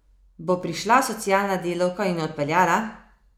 Bo prišla socialna delavka in jo odpeljala?